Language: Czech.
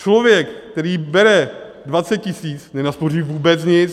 Člověk, který bere 20 tisíc, nenaspoří vůbec nic.